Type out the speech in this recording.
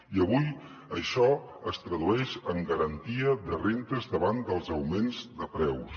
i avui això es tradueix en garantia de rendes davant dels augments de preus